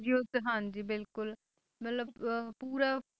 ਯੁੱਧ ਹਾਂਜੀ ਬਿਲਕੁਲ ਮਤਲਬ ਅਹ ਪੂਰਾ